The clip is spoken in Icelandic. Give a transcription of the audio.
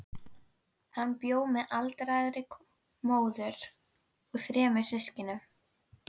Hann bjó með aldraðri móður og þremur systkinum í